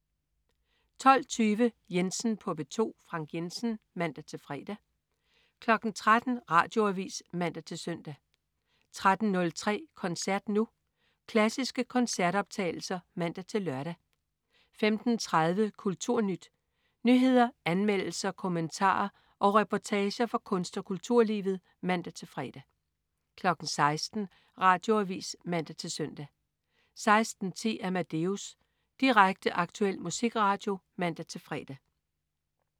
12.20 Jensen på P2. Frank Jensen (man-fre) 13.00 Radioavis (man-søn) 13.03 Koncert Nu. Klassiske koncertoptagelser (man-lør) 15.30 KulturNyt. Nyheder, anmeldelser, kommentarer og reportager fra kunst- og kulturlivet (man-fre) 16.00 Radioavis (man-søn) 16.10 Amadeus. Direkte, aktuel musikradio (man-fre)